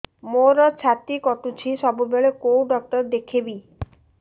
ମୋର ଛାତି କଟୁଛି ସବୁବେଳେ କୋଉ ଡକ୍ଟର ଦେଖେବି